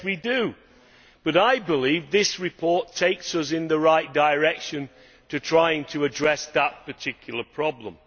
Yes we do, but I believe this report takes us in the right direction in trying to address that particular problem.